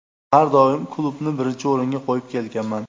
Har doim klubni birinchi o‘ringa qo‘yib kelganman.